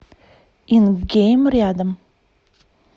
ингейм рядом